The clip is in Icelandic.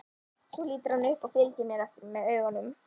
Svo lítur hann upp og fylgir mér eftir með augunum.